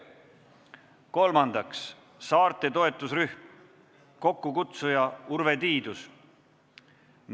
Kolmandaks, saarte toetusrühm, kokkukutsuja on Urve Tiidus.